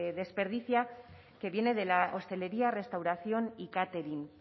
desperdicia que viene de la hostelería restauración y catering